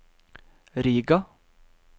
Riga